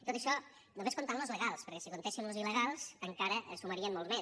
tot això només comptant ne los legals perquè si en comptéssim los il·legals encara sumarien molts més